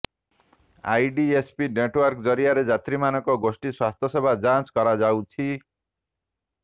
IDSP network ଜରିଆରେ ଯାତ୍ରୀମାନଙ୍କ ଗୋଷ୍ଠୀ ସ୍ୱାସ୍ଥ୍ୟ ସେବା ଯାଂଚ କରାଯାଉଛି